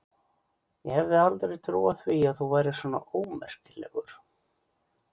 Ég hefði aldrei trúað því að þú værir svona ómerkilegur!